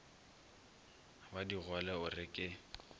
ba digole o re ke